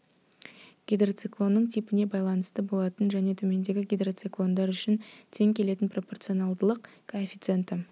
гидроциклонның типіне байланысты болатын және төмендегі гидроциклондар үшін тең келетін пропорционалдылық коэффициенті